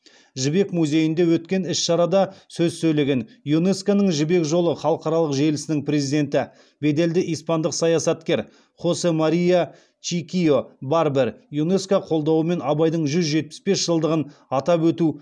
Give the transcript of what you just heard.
жібек музейінде өткен іс шарада сөз сөйлеген юнеско ның жібек жолы халықаралық желісінің президенті беделді испандық саясаткер хосе мария чикийо барбер юнеско қолдауымен абайдың жүз жетпіс бес жылдығын атап өту